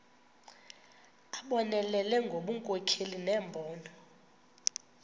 abonelele ngobunkokheli nembono